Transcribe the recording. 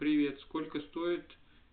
привет сколько стоит